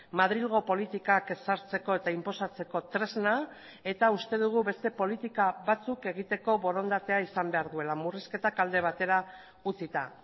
madrilgo politikak ezartzeko eta inposatzeko tresna eta uste dugu beste politika batzuk egiteko borondatea izan behar duela murrizketak alde batera utzita